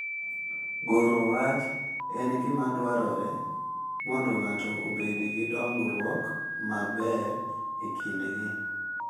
Goro wach en gima dwarore mondo ng’ato obed gi dongruok maber e kindgi.